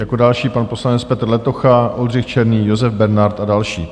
Jako další pan poslanec Petr Letocha, Oldřich Černý, Josef Bernard a další.